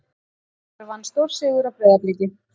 KR vann stórsigur á Breiðabliki